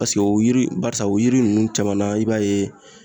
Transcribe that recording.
o yiri barisa o yiri ninnu caman na i b'a ye